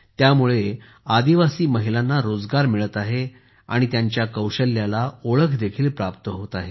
त्यामुळे आदिवासी महिलांना रोजगारही मिळत आहे आणि त्यांच्या कौशल्याला ओळख देखील प्राप्त होत आहे